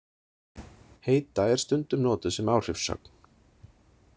Heita er stundum notuð sem áhrifssögn.